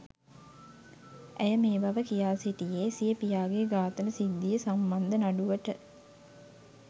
ඇය මේබව කියා සිටියේ සිය පියාගේ ඝාතන සිද්ධිය සම්බන්ධ නඩුවට